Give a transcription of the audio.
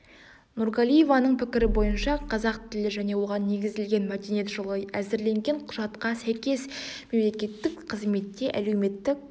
нургалиеваның пікірі бойынша қазақ тілі және оған негізделген мәдениет жылы әзірленген құжатқа сәйкес мемлекеттік қызметте әлеуметтік